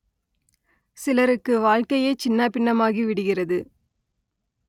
சிலருக்கு வாழ்க்கையே சின்னாபின்னமாகி விடுகிறது